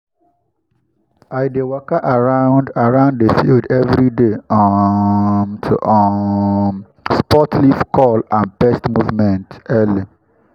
i dey waka around around the field every day um to um spot leaf curl and pest movement early.